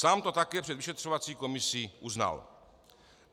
Sám to také před vyšetřovací komisí uznal.